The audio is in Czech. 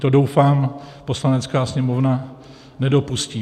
To, doufám, Poslanecká sněmovna nedopustí.